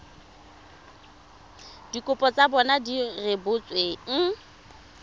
dikopo tsa bona di rebotsweng